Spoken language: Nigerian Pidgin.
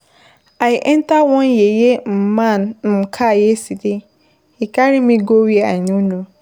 I enter one yeye man car yesterday, he carry me go where I no know.